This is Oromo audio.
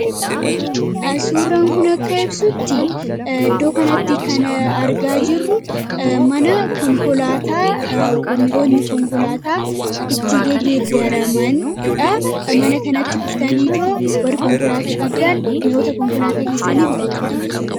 Suuraan kun akka ibsutti iddoo kanatti kan argaa jirru mana konkolaataa mi'ootni konkolaataa itti gageedaramanidha. Mana kanatti dhuftanii otoo warri konkolaataa qabdaan mi'oota konkolaataa keessanii bitachuu dandeessu.